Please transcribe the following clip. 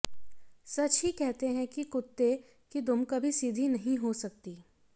सच ही कहते हैं कि कुत्ते की दुम कभी सीधी नहीं हो सकती